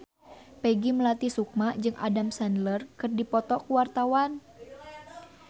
Peggy Melati Sukma jeung Adam Sandler keur dipoto ku wartawan